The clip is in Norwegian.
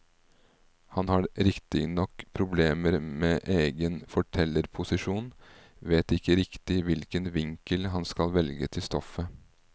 Han har riktignok problemer med egen fortellerposisjon, vet ikke riktig hvilken vinkel han skal velge til stoffet.